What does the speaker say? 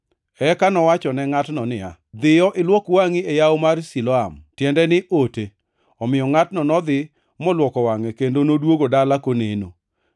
Eka nowachone ngʼatno niya, “Dhiyo ilwok wangʼi e yawo mar Siloam” (tiende ni “Ote”). Omiyo ngʼatno nodhi moluoko wangʼe, kendo noduogo dala koneno.